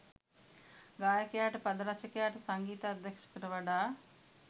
ගායකයාට පද රචකයාට සංගීත අධ්‍යක්ෂකට වඩා